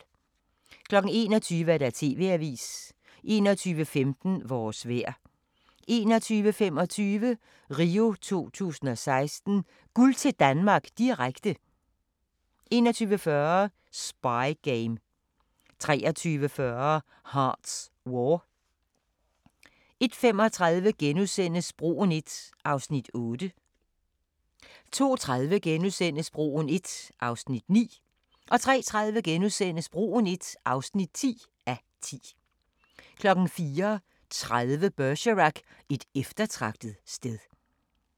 21:00: TV-avisen 21:15: Vores vejr 21:25: RIO 2016: Guld til Danmark, direkte 21:40: Spy game 23:40: Hart's War 01:35: Broen I (8:10)* 02:30: Broen I (9:10)* 03:30: Broen I (10:10)* 04:30: Bergerac: Et eftertragtet sted